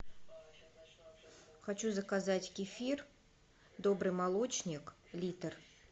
хочу заказать кефир добрый молочник литр